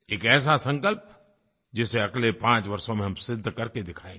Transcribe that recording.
एक ऐसा संकल्प जिसे अगले 5 वर्षों में हम सिद्ध कर के दिखाएँगे